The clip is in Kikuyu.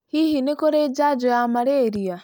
Hihi nĩ kũrĩ njajo ya malaria?